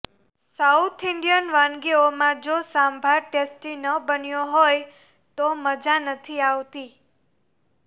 south Indian વાનગીઓમાં જો sambar tasty ન બન્યો હોય તો મજા નથી આવતી